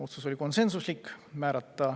Otsus oli konsensuslik.